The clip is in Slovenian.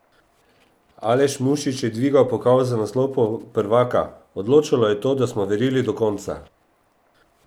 Aleš Mušič je dvignil pokal za naslov prvaka: "Odločalo je to, da smo verjeli do konca.